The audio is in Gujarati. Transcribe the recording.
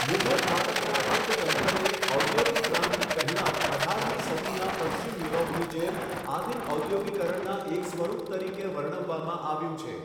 મુઘલ ભારતના અર્થતંત્રને ઔદ્યોગિક ક્રાંતિ પહેલાં અઢારમી સદીના પશ્ચિમ યુરોપની જેમ આદિમ ઔદ્યોગીકરણના એક સ્વરૂપ તરીકે વર્ણવવામાં આવ્યું છે.